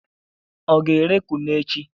Ọ ga-ere kunu echi?